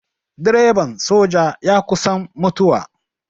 Direban soja ya kusan mutuwa.